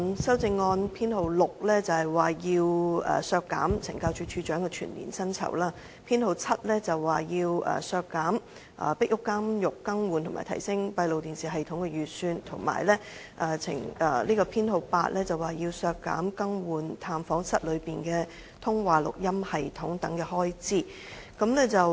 修正案編號 6， 建議削減懲教署署長的全年薪酬預算開支；修正案編號 7， 建議削減"壁屋監獄更換及提升閉路電視系統"的預算開支；及修正案編號 8， 建議削減懲教院所"更換探訪室內的通話錄音系統"等的預算開支。